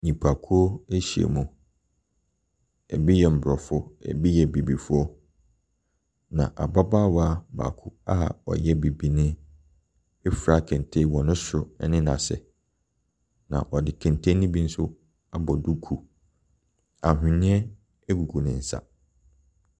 Nnipakuo ahyiam. Ebi yɛ aborɔfo, ebi yɛ abibifoɔ, na ababaawa baako a ɔyɛ bibini afura kente wɔ ne soro ne n'ase, na ɔde kente no bi nso abɔ duku. Ahenneɛ gugu ne nsa.